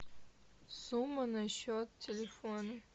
сумма на счет телефона